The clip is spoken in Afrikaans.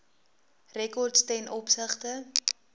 rekords ten opsigte